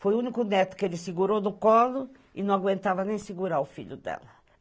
Foi o único neto que ele segurou no colo e não aguentava nem segurar o filho dela.